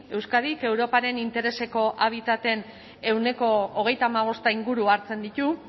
euskadik europaren intereseko habitaten ehuneko hogeita hamabost inguru hartzen ditu